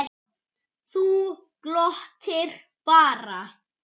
Þú glottir bara!